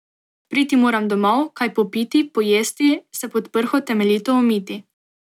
Priti moram domov, kaj popiti, pojesti, se pod prho temeljito umiti.